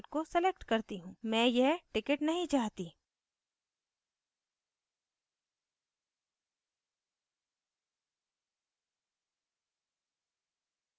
मैं यह ticket नहीं चाहती